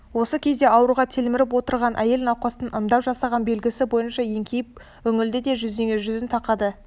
осы кезде ауруға телміріп отырған әйел науқастың ымдап жасаған белгісі бойынша еңкейіп үңілді де жүзіне жүзін тақады